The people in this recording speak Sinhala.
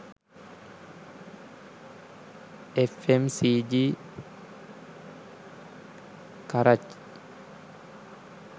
fmcg karachi